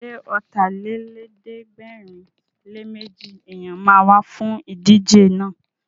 Ṣé Ọ̀tàlélẹ̀ẹ́dẹ́gbẹ̀rinléméjì èèyàn ma wá fún ìdíje náà?